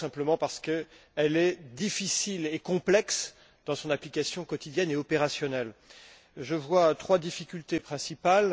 Eh bien, c'est tout simplement parce qu'elle est difficile et complexe dans son application quotidienne et opérationnelle. Je vois trois difficultés principales.